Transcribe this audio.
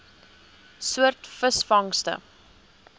soort visvangste